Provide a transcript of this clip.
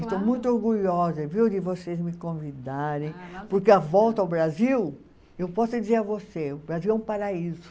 Estou muito orgulhosa, viu, de vocês me convidarem, porque a volta ao Brasil, eu posso dizer a você, o Brasil é um paraíso.